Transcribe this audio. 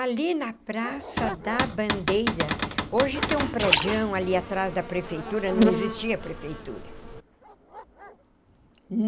Ali na Praça da Bandeira, hoje tem um prédião ali atrás da prefeitura, não existia prefeitura.